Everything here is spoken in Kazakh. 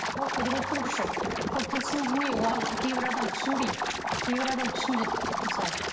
ол құдіреттің күші ол тылсым дүние оған кейбір адам түсінбейді кейбір адам түсінеді мысалы